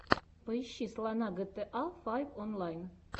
поищи слона гта файв онлайн